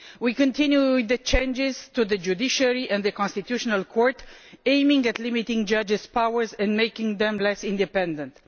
We continued with the changes to the judiciary and the constitutional court, aimed at limiting judges' powers and making them less independent.